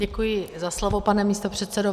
Děkuji za slovo, pane místopředsedo.